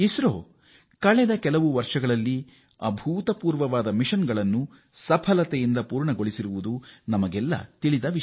ಇಸ್ರೋ ಕಳೆದ ಕೆಲವು ವರ್ಷಗಳಲ್ಲಿ ಅಭೂತಪೂರ್ವ ಸಾಧನೆಗಳನ್ನು ಯಶಸ್ವಿಯಾಗಿ ಮಾಡಿದೆ